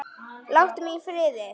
Láttu mig í friði!